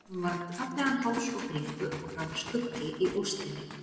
Hún var með fallegan háls og bringu og það var skuggi í óstinni.